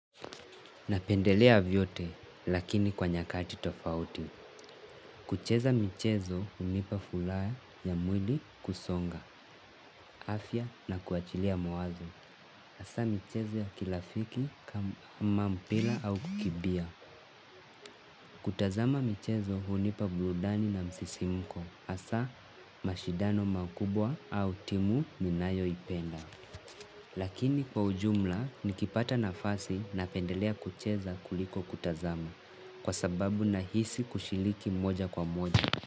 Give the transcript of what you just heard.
Napendelea vyote lakini kwa nyakati tofauti. Kucheza michezo unipa furaha ya mwili kusonga, afya na kuachilia mawazo. Hasaa michezo ya kirafiki kama mpira au kukimbia. Kutazama michezo unipa burudani na msisimuko. Hasaa mashidano makubwa au timu ninayo ipenda. Lakini kwa ujumla nikipata nafasi na pendelea kucheza kuliko kutazama kwa sababu na hisi kushiriki moja kwa moja.